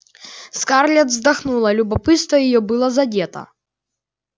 скарлетт вздохнула любопытство её было задето